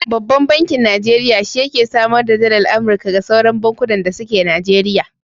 Babban bankin Najeriya shi yake samar da dallar Amurika ga sauran bankunan da suke Najeriya.